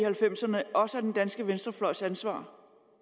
halvfems ’erne også er den danske venstrefløjs ansvar